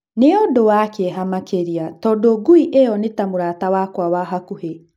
Nĩ ũndũ wa kĩeha makĩria tũndũ ngui ĩyo nĩ ta mũrata wakwa wa hakũhĩ.